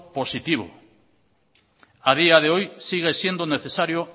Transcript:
positivo a día de hoy sigue siendo necesario